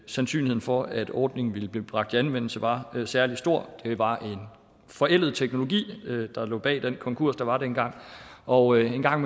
sandsynligheden for at ordningen ville blive bragt i anvendelse var særlig stor det var en forældet teknologi der lå bag den konkurs der var dengang og en gang